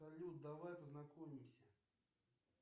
салют давай познакомимся